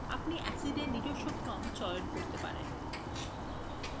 আপনি acids এর নিজস্ব ক্রম চয়ন করতে পারেন